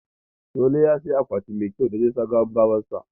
Solo ya siyi akwati mai kyau da zai sa gawan baban sa.